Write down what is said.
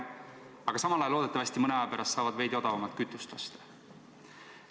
Aga samal ajal nad loodetavasti mõne aja pärast saavad veidi odavamalt kütust osta.